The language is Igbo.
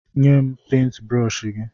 Nye m pentbrọshi gị!